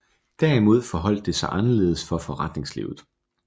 Derimod forholdt det sig anderledes for forretningslivet